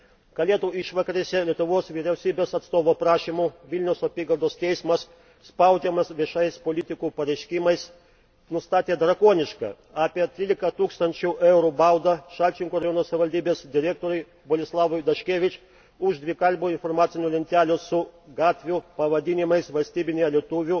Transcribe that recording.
Kalėdų išvakarėse Lietuvos vyriausybės atstovo prašymu Vilniaus apygardos teismas, spaudžiamas viešų politikų pareiškimų, nustatė drakonišką apie 13 tūkstančių eurų baudą Šalčininkų rajono savivaldybės direktoriui Boleslavui Daškevič už dvikalbių informacinių lentelių su gatvių pavadinimais valstybine lietuvių